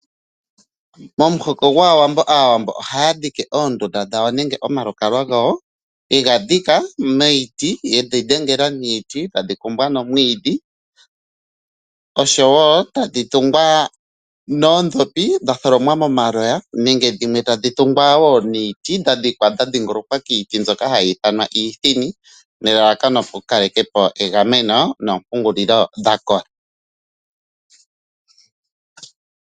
Momuhoko gwaawambo aawambo oha dhike oondundu dhawo nenge omalukalwa gawo. Yega dhika miiti yedhi dhengela niiti tadhi kumbwa nomwiidhi. Oshowo tadhi tungwa noodhopi dha tholomwa momaloya nenge dhimwe tadhi tungwa wo niiti. Dha dhikwa dha dhingolokwa kiiti mbyoka hayi ithanwa iithini nelalakano oku kalekapo egameno noompungulilo dha kola.